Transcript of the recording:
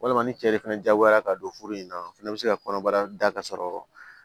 Walima ni cɛ de fana jagoyara ka don furu in na o fɛnɛ be se ka kɔnɔbara da ka sɔrɔ